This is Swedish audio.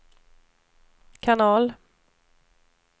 kanal